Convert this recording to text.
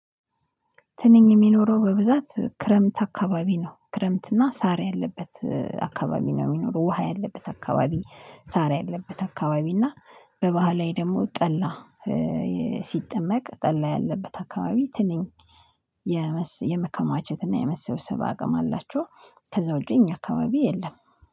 ትንኝ የሚኖረው በብዛት ክረምት አካባቢ ነው። ክረምት እና ሳር ያለበት አካባቢ ነው የሚኖረው። ውሃ ያለበት አካባቢ ሳር ያለበት አካባቢ እና በባህላዊ ደግሞ ጠላ። ሲጠመቅ ጠላ ያለበት አካባቢ ትንኝ የመስ የመከማቸት እና የመሰብሰብ አቅም አላቸው። ከዛ ውጭ እኛ አካባቢ የለም